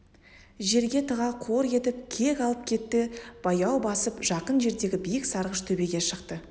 жерге тыға қор етіп кек алып кетті баяу басып жақын жердегі биік сарғыш төбеге шықты